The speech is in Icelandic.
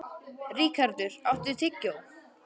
Ríkharður, áttu tyggjó?